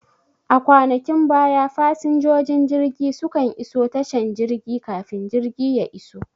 A kwanakin baya fasinjojin jirgi su kan iso tashan jirgin kafin jirgi ya iso